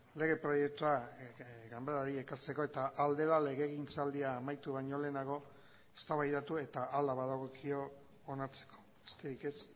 lege proiektua ganbarari ekartzeko eta ahal dela legegintzaldia amaitu baino lehenago eztabaidatu eta hala badagokio onartzeko besterik ez